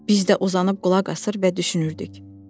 Biz də uzanıb qulaq asır və düşünürdük: